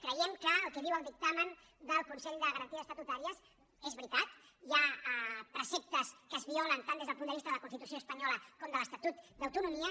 creiem que el que diu el dictamen del consell de garanties estatutàries és veritat hi ha preceptes que es violen tant des del punt de vista de la constitució espanyola com de l’estatut d’autonomia